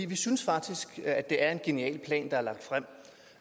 vi synes faktisk at det er en genial plan der